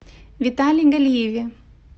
витале галиеве